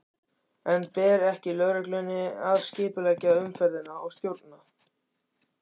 En bar ekki lögreglunni að skipuleggja umferðina og stjórna?